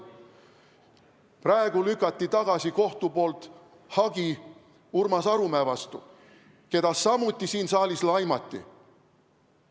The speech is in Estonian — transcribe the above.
Praegu lükati kohtus tagasi hagi Urmas Arumäe vastu, keda samuti siin saalis laimati.